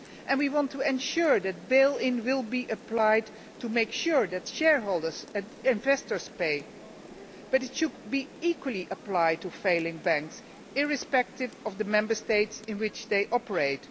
We want to ensure that bail in will be applied to make sure that shareholders and investors pay. But it should be equally applied to failing banks, irrespective of the Member States in which they operate.